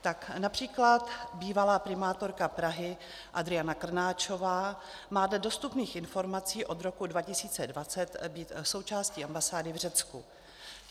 Tak například bývalá primátorka Prahy Adriana Krnáčová má dle dostupných informací od roku 2020 být součástí ambasády v Řecku.